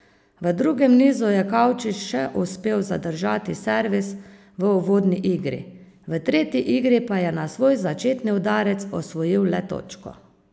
V drugem nizu je Kavčič še uspel zadržati servis v uvodni igri, v tretji igri pa je na svoj začetni udarec osvojil le točko.